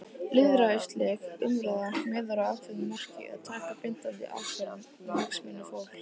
Lýðræðisleg umræða miðar að ákveðnu marki- að taka bindandi ákvörðun um hagsmuni fólks.